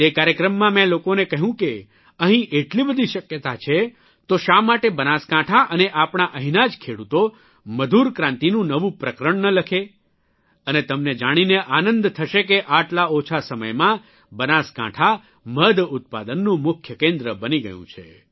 તે કાર્યક્રમમાં મેં લોકોને કહ્યું કે અહિં એટલી બધી શક્યતા છે તો શા માટે બનાસકાંઠા અને આપણા અહિંના જ ખેડૂતો મધુરક્રાંતિનું નવું પ્રકરણ ન લખે અને તમને જાણીને આનંદ થશે કે આટલા ઓછા સમયમાં બનાસકાંઠા મધ ઉત્પાદનનું મુખ્ય કેન્દ્ર બની ગયું છે